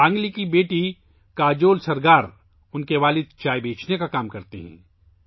سانگلی کی بیٹی کاجول سرگار، کے والد چائے بیچنے کا کام کرتے ہیں